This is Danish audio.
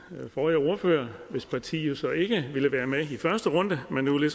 forrige ordfører hvis parti jo så ikke ville være med i første runde men nu